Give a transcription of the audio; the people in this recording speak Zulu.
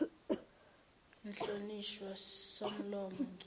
mhlonishwa somlomo ngimi